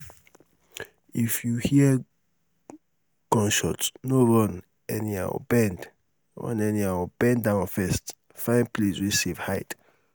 if you hear gunshot no run anyhow bend run anyhow bend down first find place wey safe hide